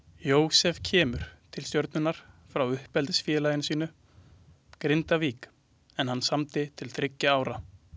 Jósef kemur til Stjörnunnar frá uppeldisfélagi sínu Grindavík en hann samdi til þriggja ára.